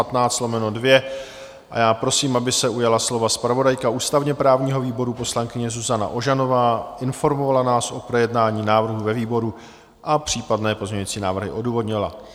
A já prosím, aby se ujala slova zpravodajka ústavně-právního výboru poslankyně Zuzana Ožanová, informovala nás o projednání návrhu ve výboru a případné pozměňovací návrhy odůvodnila.